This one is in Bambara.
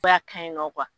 A ka ɲi nɔ